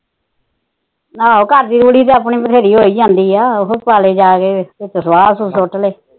ਆਹੋ ਘਰ ਦੀ ਰੂੜੀ ਤਾ ਆਪਣੀ ਬਥੇਰੀ ਹੋਈ ਜਾਂਦੀ ਆ ਉਹੀ ਪਾਲੇ ਜਾ ਫਿਰ ਸੁਆਹ ਸੁਟ ਲੇ